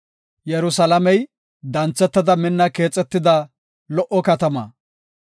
Yerusalaamey danthetada minna keexetida lo77o katama.